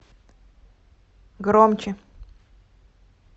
громче